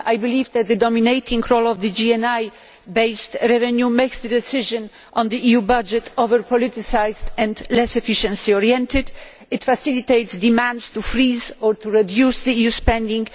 I believe that the dominating role of GNI based revenue makes a decision on the EU budget over politicised and less efficiency oriented. It facilitates demands to freeze or to reduce EU spending.